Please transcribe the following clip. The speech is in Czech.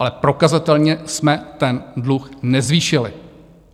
Ale prokazatelně jsme ten dluh nezvýšili.